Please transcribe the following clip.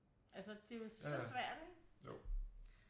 Altså det er jo så svært ikke